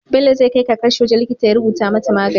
Bello zai kai kakarshi wajan likita ya rubuta mata magani